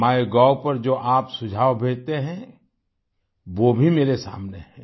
MyGov पर जो आप सुझाव भेजते हैं वो भी मेरे सामने हैं